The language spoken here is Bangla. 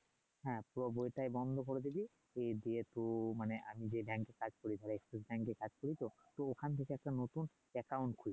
হ্যাঁ বইটা বন্ধ করে দিবি দিয়ে তো মানে আমি যে এ কাজ করি তাহলে কাজ করি তো ওখান থেকে একটা নতুন খুলবি